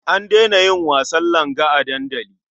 An daina yin wasan langa a dandali.